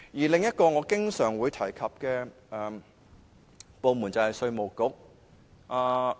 另一個我經常提及的部門就是稅務局。